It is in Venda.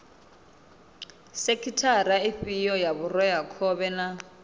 sekhithara ifhio ya vhureakhovhe na